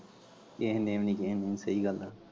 ਕੇਹੇ ਨੇ ਵੀ ਨੀ ਕੇਹੇ ਨੇ ਵੀ ਨੀ ਸਹੀ ਗੱਲ ਆ।